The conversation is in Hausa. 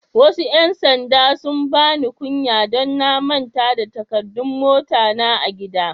Wasu yan sanɗa sun bani kunya don na manta da takaddun mota na a'gida.